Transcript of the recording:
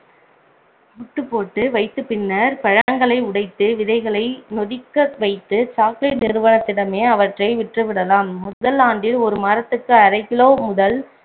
முட்டுபோட்டு வைத்த பின்னர் பழங்களை உடைத்து விதைகளை நொதிக்க வைத்து chocolate நிறுவனத்திடமே அவற்றை விற்றுவிடலாம் முதல் ஆண்டில ஒரு மாரத்துக்கு அரை kilo முதல்